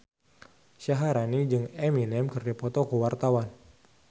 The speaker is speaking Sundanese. Syaharani jeung Eminem keur dipoto ku wartawan